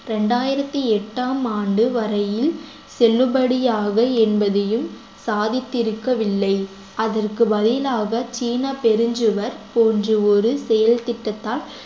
இரண்டாயிரத்தி எட்டாம் ஆண்டு வரையில் செல்லுபடியாக என்பதையும் சாதித்திருக்கவில்லை அதற்கு பதிலாக சீன பெருஞ்சுவர் போன்று ஒரு செயல்திட்டத்தால்